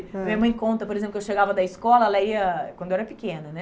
Minha mãe conta, por exemplo, que eu chegava da escola, ela ia, quando eu era pequena, né?